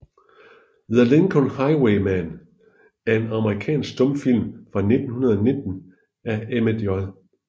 The Lincoln Highwayman er en amerikansk stumfilm fra 1919 af Emmett J